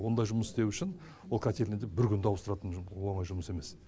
ондай жұмыс істеу үшін ол котельниды бір күнде ауыстыратын оңай жұмыс емес